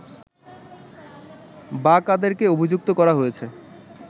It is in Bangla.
বা কাদেরকে অভিযুক্ত করা হয়েছে